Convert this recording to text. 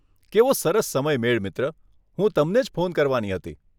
કેવો સરસ સમયમેળ મિત્ર, હું તમને ફોન જ કરવાની હતી.